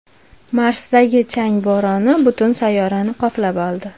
Marsdagi chang bo‘roni butun sayyorani qoplab oldi.